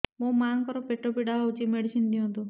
ମୋ ମାଆଙ୍କର ପେଟ ପୀଡା ହଉଛି ମେଡିସିନ ଦିଅନ୍ତୁ